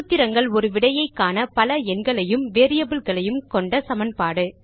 சூத்திரங்கள் ஒரு விடையை காண பல எண்களையும் வேரியபிள் களையும் கொண்ட சமன்பாடு